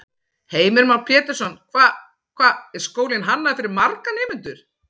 Heimir Már Pétursson: Hvað, hvað er skólinn hannaður fyrir marga nemendur?